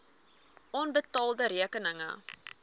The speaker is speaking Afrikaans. onbetaalde rekeninge